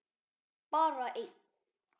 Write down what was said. Bara einn.